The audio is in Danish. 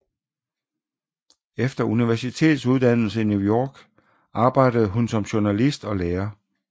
Efter universitetsuddannelse i New York arbejdede hun som journalist og lærer